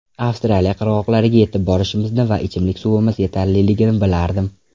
Avstraliya qirg‘oqlariga yetib borishimizni va ichimlik suvimiz yetarliligini bilardim.